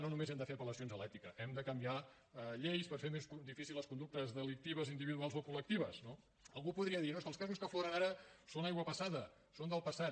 no només hem de fer apel·lacions a l’ètica hem de canviar lleis per fer més difícils les conductes delictives individuals o col·lectives no algú podria dir no és que els casos que afloren ara són aigua passada són del passat